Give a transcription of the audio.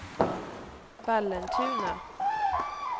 Vallentuna